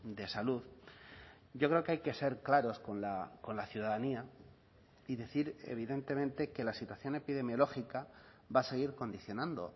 de salud yo creo que hay que ser claros con la ciudadanía y decir evidentemente que la situación epidemiológica va a seguir condicionando